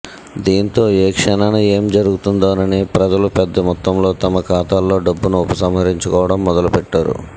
దీంతో ఏ క్షణాన ఏం జరుగుతుందోనని ప్రజలు పెద్ద మొత్తంలో తమ ఖాతాల్లోని డబ్బును ఉపసంహరించుకోవడం మొదలుపెట్టారు